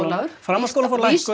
Ólafur framhaldsskólar fá lækkun